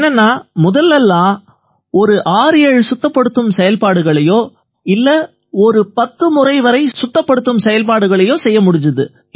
என்னென்னா முதல்ல எல்லாம் ஒரு 67 சுத்தப்படுத்தும் செயல்பாடுகளையோ இல்லை ஒரு 10 முறை வரை சுத்தப்படுத்தும் செயல்பாடுகளையோ செய்ய முடிஞ்சுது